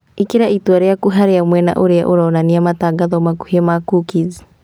Īkĩra itua rĩaku harĩ mwena ũria uronania matangatho makũhĩ ma cookies